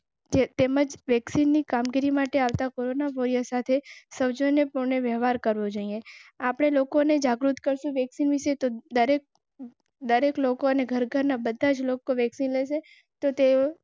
તેમજ પરીક્ષાની કામગીરી માટે આવતા કોરોના વોરિયર સાથે સૌજન્યપૂર્ણ વ્યવહાર કરવો જોઇએ. આપને લોકોને જાગૃત કરશે. વ્યક્તિવિશેષ. એ લોકો ને ઘર ઘર ના fifty લોકો વેક્સિન.